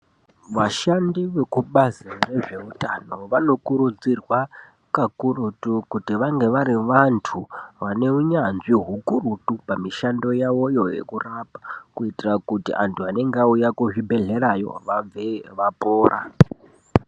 Vashandi vekubazi rezveutano vakurudzirwa kakurutu kuti vange vari vantu vaneunyanzvi hukurutu pamishando yavoyo yekurapa kuitira kuti anhu anenge auya kuzvibhedhlera vabveyo vapora.